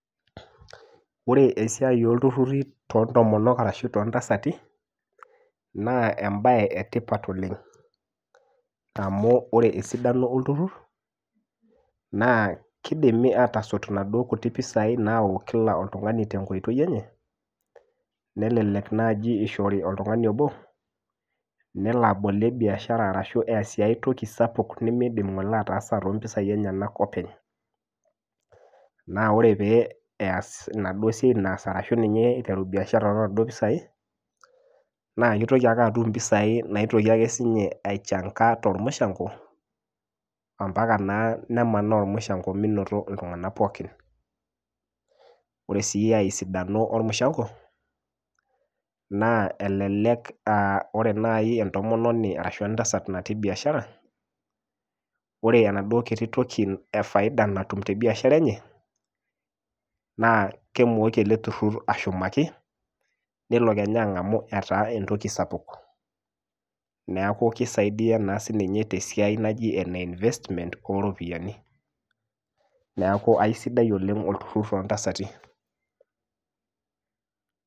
Wore esiai olturruri toontomonok arashu toontasati, naa embaye etipat oleng'. Amu wore esidano olturrur, naa kiidimi aatosot inaduo kutik pisai naayau kila oltungani tenkoitoi enye, nelelek naaji ishori oltungani obo, nelo abolie biashara arashu easie aetoki sapuk nimiidim ng'ole ataasa too mpisai enyenak openy. Naa wore pee eas enaduo siai naas arashu ninye iteru biashara toonaduo pisai, naa kitoki ake atum impisai naitoki ake sinye aichanga tolmushango, ambaka naa nemanaa olmushango minoto iltunganak pookin. Wore sii aesidano olmushango, naa elelek aa wore naai entomononi arashu entasat natii biashara, wore enaduo kiti toki e faida natum tebiashara enye, naa kemooki ele turrur ashumaki, nelo kenya angamu etaa entoki sapuk. Neeku kisaidia naa sininye naa sininye tesia naji ene investment ooropiyiani, neeku aisidai oleng' olturrur toontasati.